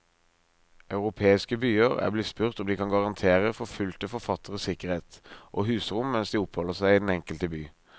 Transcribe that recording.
Europeiske byer er blitt spurt om de kan garantere forfulgte forfattere sikkerhet og husrom mens de oppholder seg i den enkelte by.